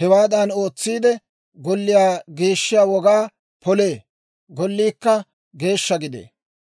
Hewaadan ootsiide, golliyaa geeshshiyaa wogaa polee; golliikka geeshsha gidee.